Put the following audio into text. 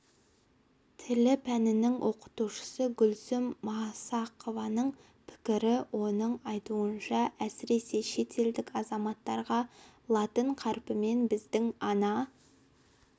тілі пәнінің оқытушысы гүлсім масақованың пікірі оның айтуынша әсіресе шетелдік азаматтарға латын қарпімен біздің ана